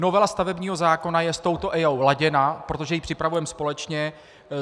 Novela stavebního zákona je s touto EIA laděna, protože ji připravujeme společně.